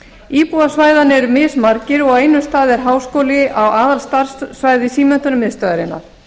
íbúar svæðanna eru mismargir og á einum stað er háskóli á aðalstarfssvæði símenntunarmiðstöðvarinnar